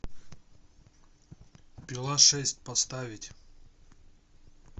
пила шесть поставить